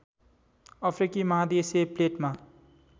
अफ्रिकी महादेशीय प्लेटमा